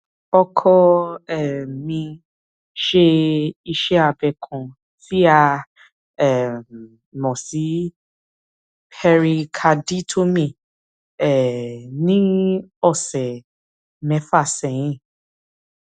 ọkọ um mi ṣe iṣẹ abẹ ọkàn tí a um mọ sí pẹrikaditomíì um ní ọsẹ mẹfà sẹyìn